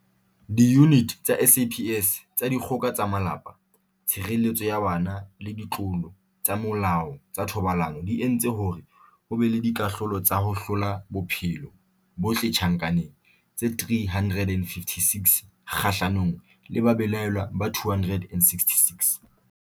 Diyuniti tsa SAPS tsa Dikgoka tsa Malapa, Tshireletso ya Bana le Ditlolo tsa Molao tsa Thobalano di entse hore ho be le dikahlolo tsa ho hlola bophelo bohle tjhankaneng tse 356 kgahlanong le babelaellwa ba 266.